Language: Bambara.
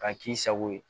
K'a k'i sago ye